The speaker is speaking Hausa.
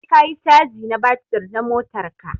Sai ka yi caji na batir na motar ka.